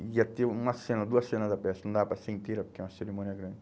Aí ia ter uma cena, duas cena da peça, não dava para ser inteira porque é uma cerimônia grande.